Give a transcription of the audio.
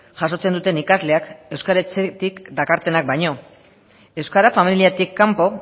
jasotzen duten ikasleak euskal etxetik dakartenak baino euskara familiatik kanpo